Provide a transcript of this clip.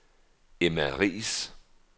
Emma Riis